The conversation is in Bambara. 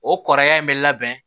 O kɔrɔya in bɛ labɛn